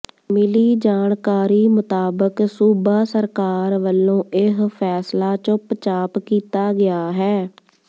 ਮਿਲੀ ਜਾਣਕਾਰੀ ਮੁਤਾਬਕ ਸੂਬਾ ਸਰਕਾਰ ਵੱਲੋਂ ਇਹ ਫੈਸਲਾ ਚੁੱਪਚਾਪ ਕੀਤਾ ਗਿਆ ਹੈ